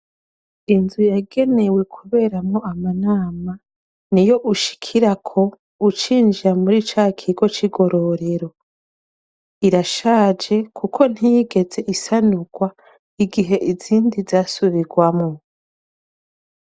inzu yagenewe kuberamo amanama ni yo ushikira ko ucinjira muri ca kigo c'igororero irashaje kuko ntiyigeze isanukwa igihe izindi zasubirwamo